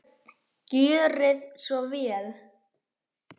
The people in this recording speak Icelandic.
Gjörið svo vel!